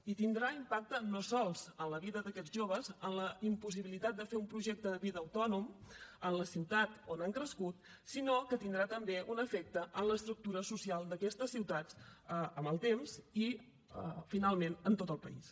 i tindrà impacte no sols en la vida d’aquests joves en la impossibilitat de fer un projecte de vida autònom en la ciutat on han crescut sinó que tindrà també un efecte en l’estructura social d’aquestes ciutats amb el temps i finalment en tot el país